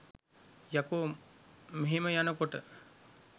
යකෝ මෙහෙම යනකොට